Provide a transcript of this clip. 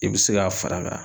I bi se k'a far'a ka